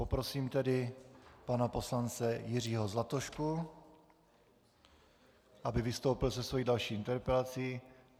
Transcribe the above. Poprosím tedy pana poslance Jiřího Zlatušku, aby vystoupil se svojí další interpelací.